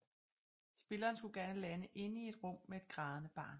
Spilleren skulle gerne lande inde i et rum med et grædende barn